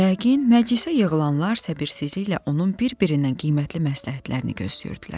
Yəqin, məclisə yığılanlar səbirsizliklə onun bir-birindən qiymətli məsləhətlərini gözləyirdilər.